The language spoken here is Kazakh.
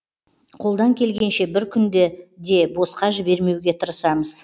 қолдан келгенше бір күнді де босқа жібермеуге тырысамыз